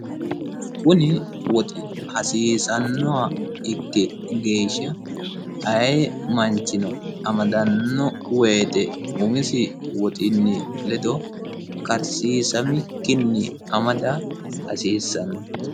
kuni woxi hasiisannoha ikki geeshsha ayee manchino amadannoha ikki wote umisi woxinni ledo karsiisamikkinni amada hasiissanno.